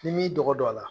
N'i m'i dɔgɔ don a la